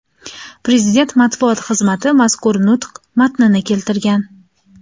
Prezident matbuot xizmati mazkur nutq matnini keltirgan .